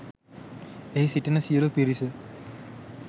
එහි සිටින සියලූ පිරිස